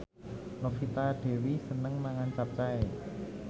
Novita Dewi seneng mangan capcay